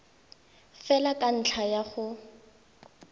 fela ka ntlha ya go